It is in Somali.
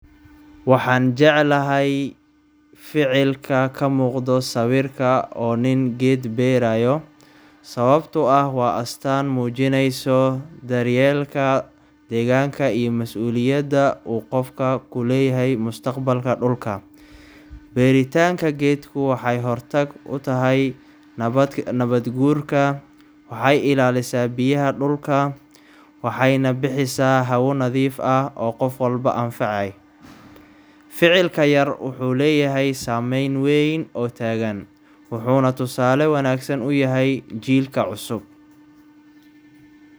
Waxaan jeclahay ficilka ka muuqdo sawirka oo nin geed beerayo sababtoo ah waa astaan muujinayso daryeelka deegaanka iyo mas’uuliyadda uu qofka ku leeyahay mustaqbalka dhulka. Beertitanka geedku waxay hortag u tahay nabaad guurka, waxay ilaalisaa biyaha dhulka, waxayna bixisaa hawo nadiif ah oo qof walba anfacaay. Ficilkan yar wuxuu leeyahay saameyn weyn oo tagan, wuxuuna tusaale wanaagsan u yahay jiilka cusub.